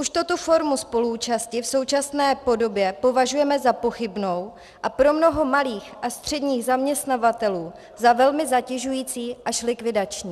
Už tuto formu spoluúčasti v současné podobě považujeme za pochybnou a pro mnoho malých a středních zaměstnavatelů za velmi zatěžující až likvidační.